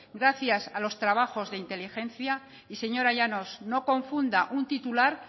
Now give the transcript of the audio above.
gracias a los trabajos de inteligencia y señora llanos no confunda un titular